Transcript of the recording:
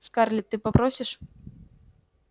скарлетт ты попросишь